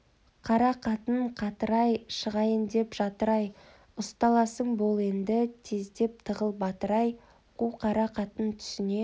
қара қатын қатқыр-ай шығайын деп жатыр-ай ұсталасың бол енді тездеп тығыл батыр-ай қу қара қатын түсіне